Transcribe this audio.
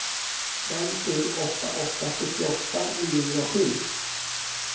fem sju åtta åtta sjuttioåtta niohundrasju